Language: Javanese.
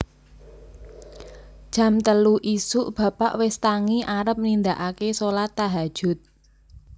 Jam telu isuk bapak wis tangi arep nindaake solat tahajud